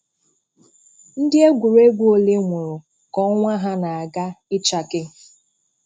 Ndị egwuregwu ole nwụrụ ka ọnwa ha na-aga ịchake